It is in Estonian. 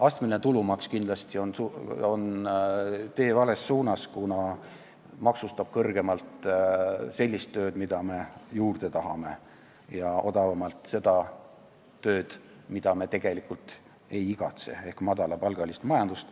Astmeline tulumaks on kindlasti tee vales suunas, kuna maksustab kõrgemalt sellist tööd, mida me juurde tahame, ja odavamalt sellist tööd, mida me tegelikult ei igatse, ehk madalapalgalist majandust.